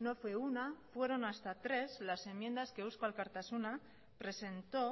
no fue una fueron hasta tres las enmiendas que eusko alkartasuna presentó